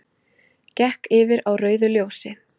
Gekk yfir á rauðu ljósi